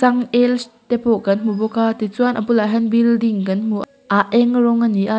te pawh kan hmu bawk a ti chuan a bulah hian building kan hmu a eng rawng a ni a.